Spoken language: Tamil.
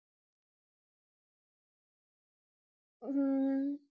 உம்